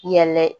Yɛlɛ